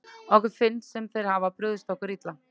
Okkur finnst sem þeir hafi brugðist okkur illa.